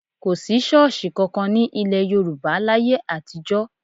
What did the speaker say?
Kò sí ṣọ́ọ̀ṣì kankan ní ilẹ̀ Yorùbá láyé àtijọ́.